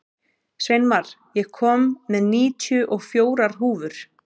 Sveinmar, ég kom með níutíu og fjórar húfur!